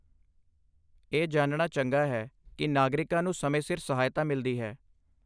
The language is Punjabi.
ਇਹ ਜਾਣਨਾ ਚੰਗਾ ਹੈ ਕਿ ਨਾਗਰਿਕਾਂ ਨੂੰ ਸਮੇਂ ਸਿਰ ਸਹਾਇਤਾ ਮਿਲਦੀ ਹੈ।